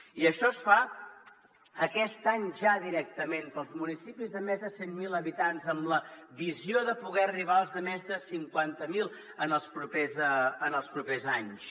i això es fa aquest any ja directament per als municipis de més de cent mil habitants amb la visió de poder arribar als de més de cinquanta mil en els propers anys